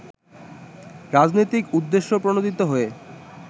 রাজনৈতিক উদ্দেশ্যপ্রণোদিত হয়ে